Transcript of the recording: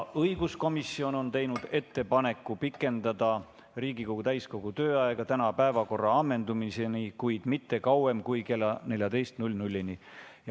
Õiguskomisjon on teinud ettepaneku pikendada Riigikogu täiskogu tööaega täna päevakorra ammendumiseni, kuid mitte kauem kui kella 14‑ni.